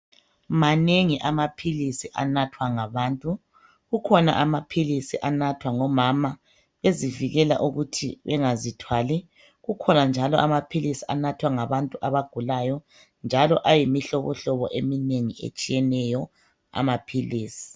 Manengi amaphilisi anathwa ngabantu kukhona amaphilisi anathwa ngomama bezivikela ukuthi bengazithwali .Kukhona njalo amaphilisi anathwa ngabantu abagulayo njalo ayimihlobohlobo eminengi etshiyeneyo amaphilisi .